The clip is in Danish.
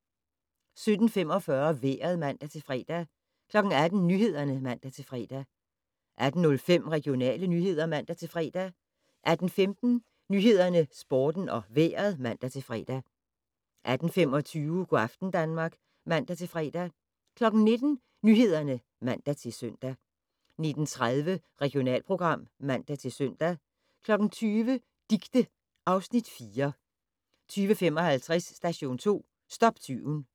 17:45: Vejret (man-fre) 18:00: Nyhederne (man-fre) 18:05: Regionale nyheder (man-fre) 18:15: Nyhederne, Sporten og Vejret (man-fre) 18:25: Go' aften Danmark (man-fre) 19:00: Nyhederne (man-søn) 19:30: Regionalprogram (man-søn) 20:00: Dicte (Afs. 4) 20:55: Station 2 - stop tyven